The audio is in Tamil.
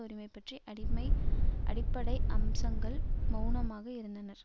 உரிமைபற்றிய அடிமை அடிப்படை அம்சங்களில் மெளனமாக இருந்தனர்